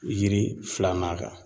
Yiri filanan kan